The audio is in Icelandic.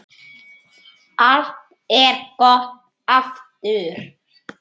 Allt er gott aftur.